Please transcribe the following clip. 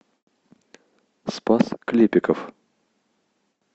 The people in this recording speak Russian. спас клепиков